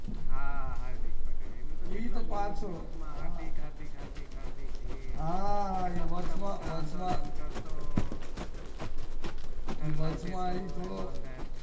હા હાર્દિક પટેલ એનું તો હાર્દિક હાર્દિક હાર્દિક હાર્દિક હા વાચ માં વાચ માં વચ માં એ તો